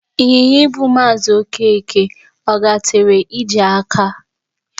Ịnyịnya ibu Maazị ọkeke, ọ gatere ije aka?